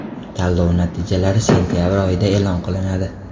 Tanlov natijalari sentabr oyida e’lon qilinadi.